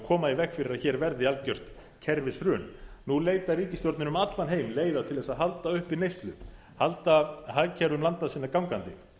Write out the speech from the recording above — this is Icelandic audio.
koma í veg fyrir að hér verði algjört kerfishrun nú leitar ríkisstjórnir um allan heim leiða til að halda uppi neyslu halda hagkerfum landa sinna gangandi